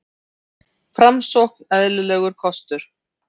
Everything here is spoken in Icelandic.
Framsókn eðlilegur kostur